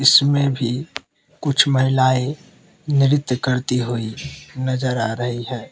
इसमें भी कुछ महिलाएं नृत्य करती हुई नजर आ रही हैं।